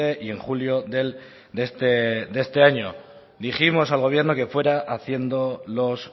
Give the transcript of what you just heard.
y en julio de este año dijimos al gobierno que fuera haciendo los